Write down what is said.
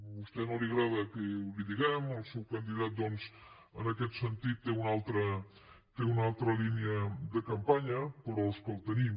a vostè no li agrada que li ho diguem el seu candidat doncs en aquest sentit té una altra línia de campanya però és que el tenim